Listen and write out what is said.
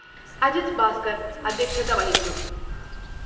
അജിത് ഭാസ്‌കര്‍ അദ്ധ്യക്ഷത വഹിച്ചു